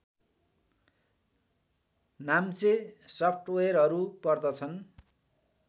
नाम्चे सफ्टवेयरहरू पर्दछन्